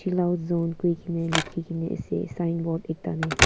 chill out zone koi kine likhi kina ase signboard ekta teh.